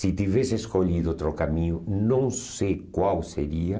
Se tivesse escolhido outro caminho, não sei qual seria.